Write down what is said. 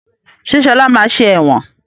Ṣé Ṣọlá máa ṣe ẹ̀wọ̀n?